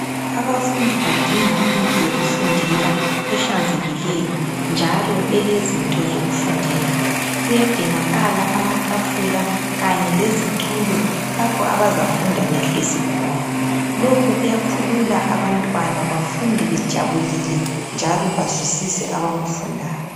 Abafundi badinga indlu yokufundela eglanzekileyo njalo elezinto zokufundela kuyadingakala amatafula izitulo lapha abazafunda behlezi khona lokhu kuyakhulula abantwana bafunde bejabulile njalo bazwisise abakufundayo